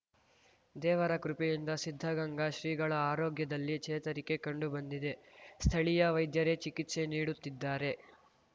ದೇವರ ಕೃಪೆಯಿಂದ ಸಿದ್ಧಗಂಗಾ ಶ್ರೀಗಳ ಆರೋಗ್ಯದಲ್ಲಿ ಚೇತರಿಕೆ ಕಂಡು ಬಂದಿದೆ ಸ್ಥಳೀಯ ವೈದ್ಯರೇ ಚಿಕಿತ್ಸೆ ನೀಡುತ್ತಿದ್ದಾರೆ